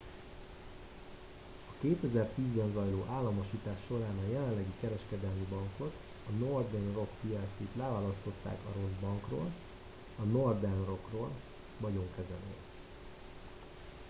a 2010-ben zajló államosítás során a jelenlegi kereskedelmi bankot a northern rock plc-t leválasztották a rossz bankról” a northern rock-ról vagyonkezelő